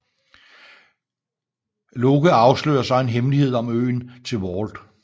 Locke afslører så en hemmelighed om øen til Walt